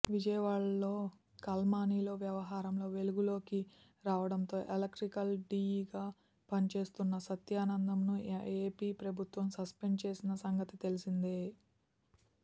విజయవాడలో కాల్మనీ వ్యవహారంలో వెలుగులోకి రావడంతో ఎలక్ట్రికల్ డీఈగా పనిచేస్తున్న సత్యానందంను ఏపీ ప్రభుత్వం సస్పెండ్ చేసిన సంగతి తెలిసిందే